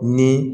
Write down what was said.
Ni